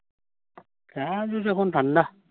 কাজ উজ অখন ঠান্ডা